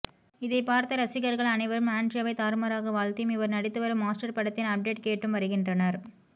இதைப்பார்த்த ரசிகர்கள் அனைவரும் ஆண்ட்ரியாவை தாறுமாறாக வாழ்த்தியும் இவர் நடித்து வரும் மாஸ்டர் படத்தின் அப்டேட் கேட்டும் வருகின்றனர்